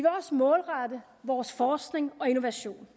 også målrette vores forskning og innovation